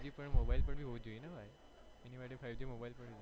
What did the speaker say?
mobile પણ હોવું જોઈએ ને ભાઈ એની માટે five g mobile પણ હોવું જોઈએ.